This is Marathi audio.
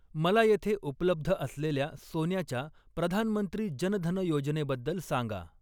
मला येथे उपलब्ध असलेल्या सोन्याच्या प्रधानमंत्री जन धन योजने बद्दल सांगा!